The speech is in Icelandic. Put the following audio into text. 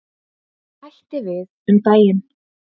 Hætti við um daginn.